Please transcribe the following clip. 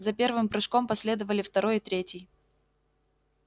за первым прыжком последовали второй и третий